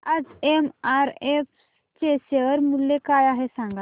आज एमआरएफ चे शेअर मूल्य काय आहे सांगा